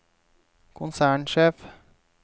konsernsjef